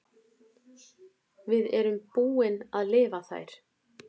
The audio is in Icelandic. Við erum búin að lifa þær.